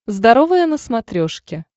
здоровое на смотрешке